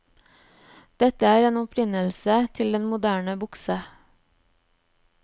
Dette er opprinnelsen til den moderne bukse.